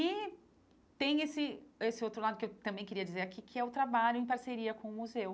E tem esse esse outro lado que eu também queria dizer aqui, que é o trabalho em parceria com o museu.